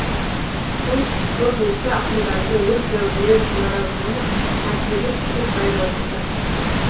бұл көбінесе ақындардың өз дәуіріне наразылығы мотиві тығыз байланысты